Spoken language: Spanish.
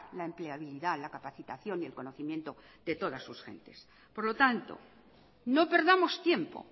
la empleabilidad la capacitación y el conocimiento de todas sus gentes por lo tanto no perdamos tiempo